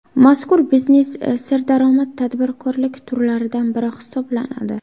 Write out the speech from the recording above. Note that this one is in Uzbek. Mazkur biznes serdaromad tadbirkorlik turlaridan biri hisoblanadi.